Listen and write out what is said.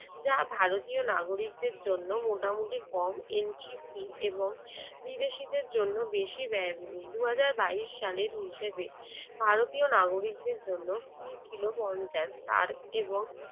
যা ভারতীয় নাগরিকদের জন্য মোটামুটি কম entry fee এবং বিদেশীদের জন্য বেশী ব্যয়বহুল দুই হাজার বাইশ সালের হিসাবে ভারতীয় নাগরিকদের জন্য fee ছিল পঞ্চাশ আর এবং